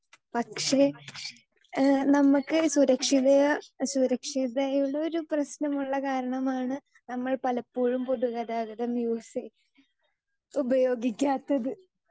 speaker 2 പക്ഷേ ഏഹ് നമ്മൾക്ക് സുരക്ഷിത സുരക്ഷിതയുടെ ഒരു പ്രശ്നം ഉള്ള കാരണമാണ് നമ്മൾ പലപ്പോഴും പൊതുഗതാഗതം യൂസ് ഉപയോഗിക്കാത്തത്